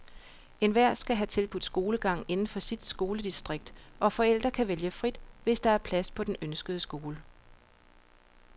Enhver skal have tilbudt skolegang inden for sit skoledistrikt, og forældre kan vælge frit, hvis der er plads på den ønskede skole.